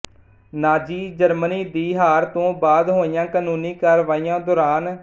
ਨਾਜ਼ੀ Germany ਦੀ ਹਾਰ ਤੋਂ ਬਾਅਦ ਹੋਈਆਂ ਕਾਨੂੰਨੀ ਕਾਰਾਵਾਈਆਂ ਦੌਰਾਨ ਐੱਸ